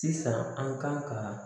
Sisan an kan ka